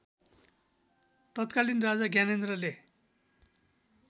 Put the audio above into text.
तत्कालीन राजा ज्ञानेन्द्रले